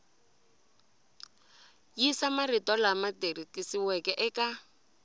yisa marito lama tikisiweke eka